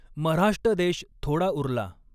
मऱ्हाष्टदेश थोडा उरला।